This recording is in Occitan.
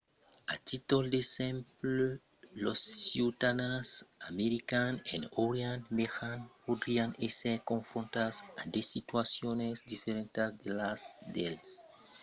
a títol d'exemple los ciutadans americans en orient mejan podrián èsser confrontats a de situacions diferentas de las dels europèus o dels arabis